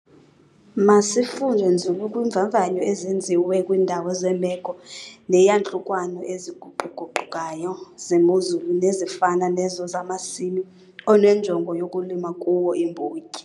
Masifunde nzulu kwiimvavanyo ezenziwe kwiindawo zeemeko neeyantlukwano eziguqu-guqukayo zemozulu nezifana nezo zamasimi onenjongo yokulima kuwo iimbotyi.